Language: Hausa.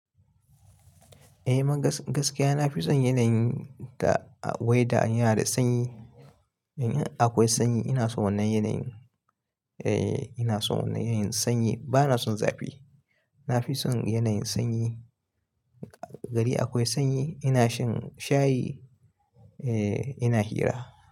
Eh munga gaskiya, nafi son yanayin weather in yanada sanyi. In aƙwai sanyi ina son wannan yanayin. Eh ina son wannan yanayin sanyi bana son zafi. Nafi son yanayin sanyi. Gari aƙwai sanyi ina shan shayi eh ina hira.